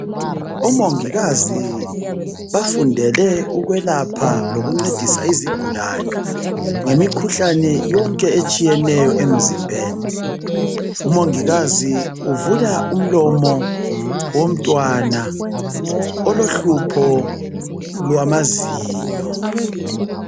Omongikazi bafundele ukwelapha lokuncedisa izigulane ngemikhuhlane yonke etshiyeneyo emizimbeni umongikazi uvula umlomo womntwana olohlupho lwamazinyo